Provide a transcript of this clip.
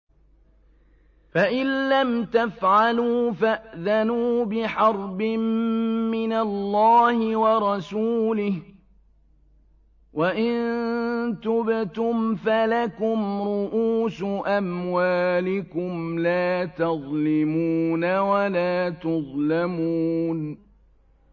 فَإِن لَّمْ تَفْعَلُوا فَأْذَنُوا بِحَرْبٍ مِّنَ اللَّهِ وَرَسُولِهِ ۖ وَإِن تُبْتُمْ فَلَكُمْ رُءُوسُ أَمْوَالِكُمْ لَا تَظْلِمُونَ وَلَا تُظْلَمُونَ